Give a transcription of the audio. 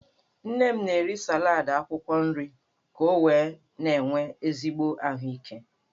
Nne m na-eri salad akwukwo nri ka o wee na-enwe ezigbo ahuike.